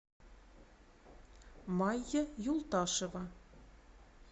майя юлташева